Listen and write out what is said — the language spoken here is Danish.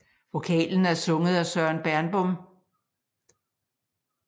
Vokalen er sunget af Søren Bernbom